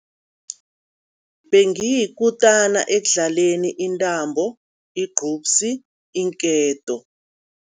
Bengiyikutana ekudlaleni intambo, igqubsi, iinketo.